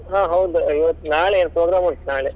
ಹಾ ಹೌದ್ ಇವತ್ತ್ ನಾಳೆ program ಉಂಟು ನಾಳೆ.